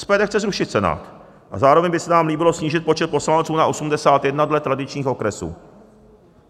SPD chce zrušit Senát a zároveň by se nám líbilo snížit počet poslanců na 81 dle tradičních okresů.